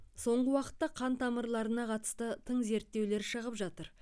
соңғы уақытта қан тамырларына қатысты тың зерттеулер шығып жатыр